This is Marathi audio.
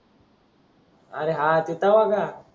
आरे हा ते तेव्हा का